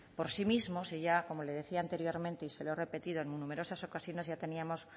por sí mismos y como le decía anteriormente y se lo he repetido en numerosas ocasiones ya teníamos